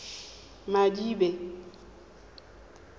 madibe